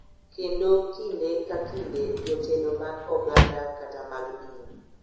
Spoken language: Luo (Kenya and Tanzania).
Kendo kinde ka kinde jotelo mag oganda kata mag din.